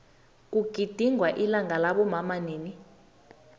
kugidingwa ilanga labomama nini